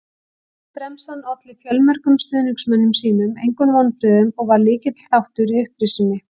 Bremsan olli fjölmörgum stuðningsmönnum sínum engum vonbrigðum og var lykilþáttur í upprisunni.